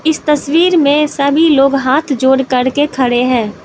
इस तस्वीर में सभी लोग हाथ जोड़कर के खड़े है।